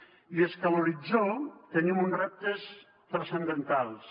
i és que a l’horitzó tenim uns reptes transcendentals